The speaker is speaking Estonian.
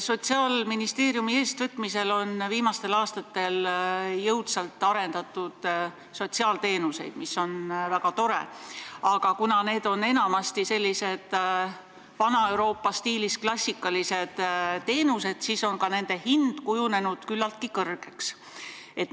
Sotsiaalministeeriumi eestvõtmisel on viimastel aastatel jõudsalt arendatud sotsiaalteenuseid, mis on väga tore, aga kuna need on enamasti vana Euroopa stiilis klassikalised teenused, siis on nende hind küllaltki kõrgeks kujunenud.